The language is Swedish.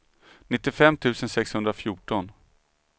nittiofem tusen sexhundrafjorton